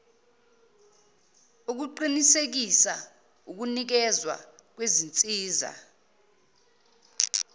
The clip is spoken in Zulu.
ukuqinisekisa ukunikezwa kwezinsiza